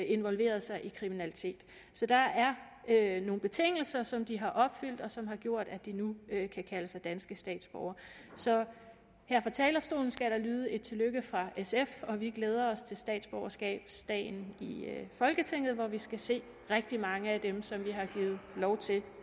involveret sig i kriminalitet så der er nogle betingelser som de har opfyldt og som har gjort at de nu kan kalde sig danske statsborgere så her fra talerstolen skal der lyde et tillykke fra sf vi glæder os til statsborgerskabsdagen i folketinget hvor vi skal se rigtig mange af dem som vi har givet lov til